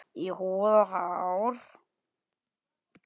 Í húð og hár.